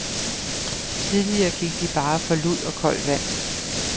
Tidligere gik de bare for lud og koldt vand.